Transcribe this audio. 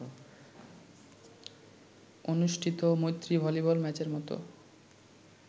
অনুষ্ঠিত ‘মৈত্রী’ ভলিবল ম্যাচের মতো